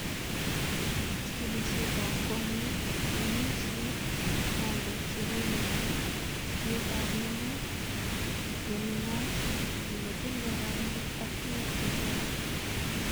Chigilisietab konyek: ngemisiet, bandek che koyesho, tietab menet, nenunat, nemotindo rangik ak tuguk che toek.